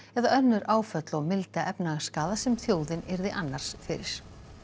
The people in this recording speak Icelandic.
eða önnur áföll og milda sem þjóðin yrði annars fyrir